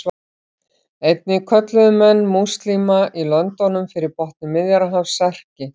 Einnig kölluðu menn múslíma í löndunum fyrir botni Miðjarðarhafs Serki.